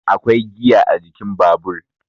akwai giya a jikin Babur